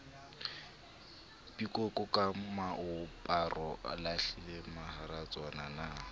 pikoko ka moaparo o lahlilemaharaswanyana